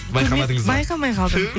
байқамадыңыз ба байқамай қалдым фу